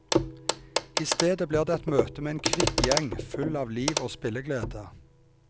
I stedet blir det et møte med en kvikk gjeng, full av liv og spilleglede.